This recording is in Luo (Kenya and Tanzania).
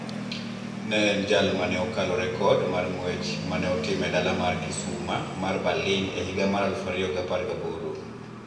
Ne en jal ma ne okalo rekod mar ng'wech ma ne otim e dala mar kisuma mar Berlin e higa mar aluf ariyo gi apar gaboro